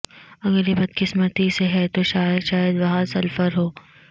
اگر یہ بدقسمتی سے ہے تو شاید شاید وہاں سلفر ہو